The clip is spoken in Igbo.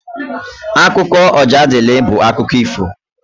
Akụkọ Ojadịlị bụ akụkọ ifo.